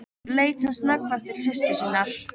Leit sem snöggvast til systur sinnar.